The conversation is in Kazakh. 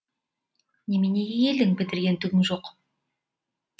неменеге келдің бітірген түгің жоқ